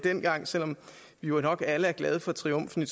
dengang selv om vi jo nok alle er glade for triumfen i